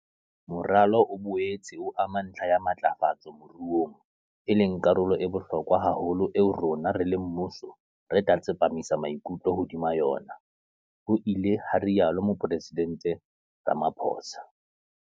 Moralo o boetse o ama ntlha ya matlafatso moruong, e leng karolo e bohlokwa haholo eo rona, re le mmuso, re tla tsepamisa maikutlo hodima yona, ho ile ha rialo Mopresidente Ramaphosa.